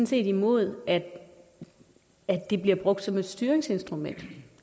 set imod at de bliver brugt som et styringsinstrument